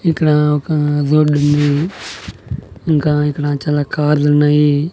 ఇక్కడ ఒక రోడ్డు ఉంది ఇంక ఇక్కడ చాలా కార్లు ఉన్నాయి.